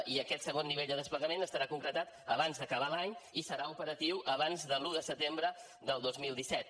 i aquest segon nivell de desplegament estarà concretat abans d’acabar l’any i serà operatiu abans de l’un de setembre del dos mil disset